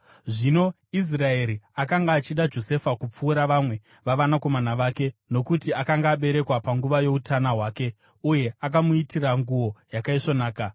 Zvino Israeri akanga achida Josefa kupfuura vamwe vavanakomana vake, nokuti akanga aberekwa panguva youtana hwake; uye akamuitira nguo yakaisvonaka.